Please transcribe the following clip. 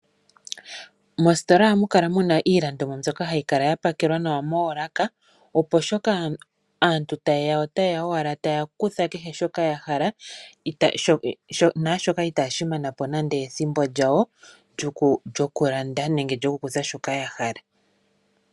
Moositola ohamu kala muna iilandomwa mbyoka hayi kala yapakelwa nawa moolaka ,opo shoka aantu tayeya ota yeya owala taya kutha kehe shoka yahala naashoka itashi manapo nande ethimbo lyawo lyokulanda nenge lyokukutha shoka yahala.